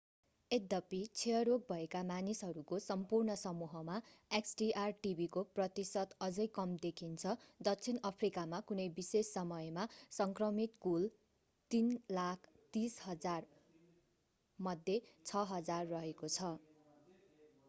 यद्यपि क्षयरोग भएका मानिसहरूको सम्पूर्ण समूहमा xdr-tb को प्रतिशत अझै कम देखिन्छ दक्षिण अफ्रिकामा कुनै विशेष समयमा संक्रमित कुल 330,000मध्ये 6,000 रहेको छ